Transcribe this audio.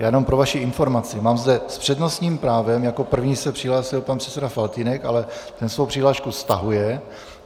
Jenom pro vaši informaci, mám zde s přednostním právem - jako první se přihlásil pan předseda Faltýnek, ale ten svou přihlášku stahuje.